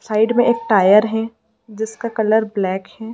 Side में एक tyre है जिसका कलर ब्लैक है।